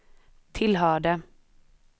tillhörde